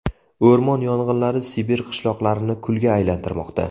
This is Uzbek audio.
O‘rmon yong‘inlari Sibir qishloqlarini kulga aylantirmoqda.